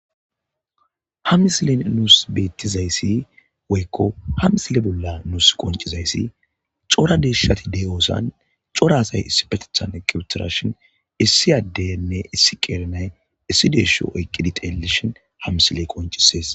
Ha misile nuus bettizayssi woykko ha misile bolla nuus qoncizayssi cora deeshshati de'oosan cora asay issi petethan eqiwetirashin issi addenne issi qeerenay issi deesho oyqqidi teellishin ha misiley qoncisees.